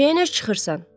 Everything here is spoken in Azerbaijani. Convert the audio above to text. Küçəyə niyə çıxırsan?